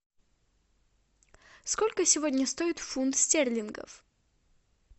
сколько сегодня стоит фунт стерлингов